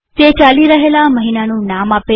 તે ચાલી રહેલા મહિનાનું નામ આપે છે